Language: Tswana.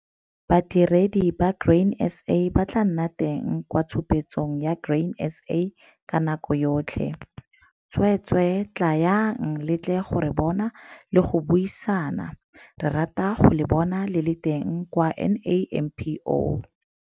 Badiredi ba Grain SA ba tlaa nna teng kwa tshupetsong ya Grain SA ka nako yotlhe, tsweetswee, tlaang le tle go re bona le go buisana - re rata go le bona le le teng kwa NAMPO.